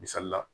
Misali la